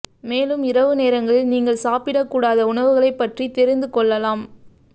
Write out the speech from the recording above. மேலும் இரவு நேரங்களில் நீங்கள் சாப்பிட கூடாத உணவுகளை பற்றி தெரிந்துக் கொள்ளலாம்